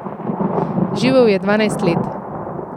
Živel je dvanajst let.